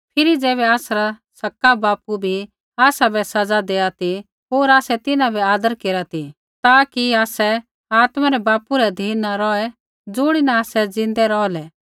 फिरी ज़ैबै आसरा सक्का बापू बी आसाबै सज़ा दैआ ती होर आसै तिन्हां बै आदर केरा ती ता कि आसै आत्मा रै पिता रै अधीन न रौहै ज़ुणिन आसै ज़िन्दै रौहलै